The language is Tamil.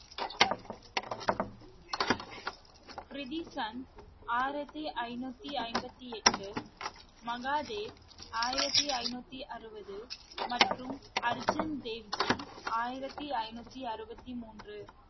ப்ரித்தி சந்த் ஆயிரத்தி ஐநூத்தி ஐம்பத்தி எட்டு, மகாதேவ் ஆயிரத்தி ஐநூத்தி அறுபது மற்றும் அர்ஜன் தேவ்ஜி ஆயிரத்தி ஐநூத்தி அறுபத்தி மூன்று